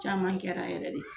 Caman kɛra yɛrɛ de